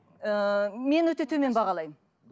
ыыы мен өте төмен бағалаймын